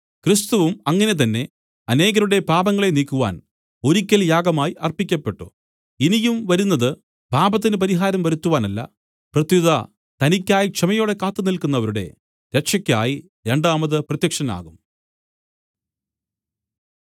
ക്രിസ്തുവും അങ്ങനെ തന്നെ അനേകരുടെ പാപങ്ങളെ നീക്കുവാൻ ഒരിക്കൽ യാഗമായി അർപ്പിക്കപ്പെട്ടു ഇനിയും വരുന്നത് പാപത്തിന് പരിഹാരം വരുത്തുവാനല്ല പ്രത്യുത തനിക്കായി ക്ഷമയോടെ കാത്തുനില്ക്കുന്നവരുടെ രക്ഷക്കായി രണ്ടാമത് പ്രത്യക്ഷനാകും